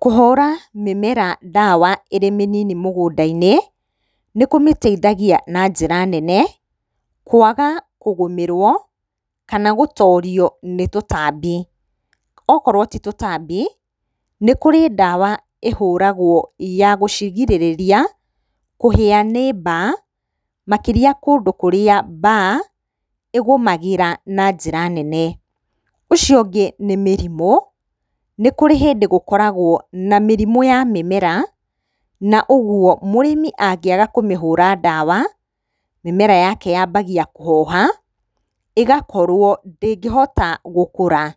Kũhũra mĩmera ndawa ĩrĩ mĩnini mũgũnda-inĩ nĩkũmĩteithagia na njĩra nene kwaga kũgũmĩrwo kana gũtorio nĩ tũtambi. Okorwo ti tũtambi nĩkũrĩ ndawa ĩhũragwo ya gũcigirĩrĩria kũhĩa nĩ mbaa makĩria kũndũ kũrĩa mbaa ĩgũmagĩra na njĩra nene. Ũcio ũngĩ nĩ mĩrimũ, nĩ kũrĩ hĩndĩ gũkoragwo na mĩrimũ ya mĩmera na ũguo mũrĩmi angiaga kũmĩhũra ndawa mĩmera yake yambagia kũhoha igakorwo ndĩngĩhota gũkũra.